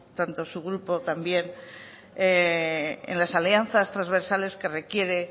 tanto su grupo también en las alianzas trasversales que requiere